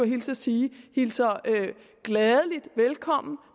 hilse at sige hilser velkommen